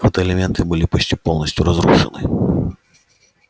фотоэлементы были почти полностью разрушены